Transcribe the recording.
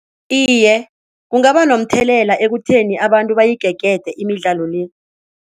Iye, kungaba nomthelela ekutheni abantu bayigegede imidlalo le.